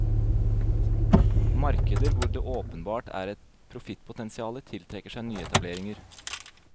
Markeder hvor det åpenbart er et profittpotensiale, tiltrekker seg nyetableringer.